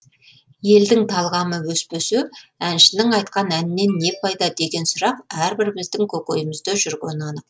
елдің талғамы өспесе әншінің айтқан әнінен не пайда деген сұрақ әрбіріміздің көкейімізде жүргені анық